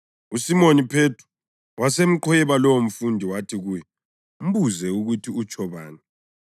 USimoni Phethro wasemqhweba lowomfundi wathi kuye, “Mbuze ukuthi utsho bani.”